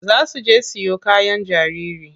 Za su je siyo kayan jariri.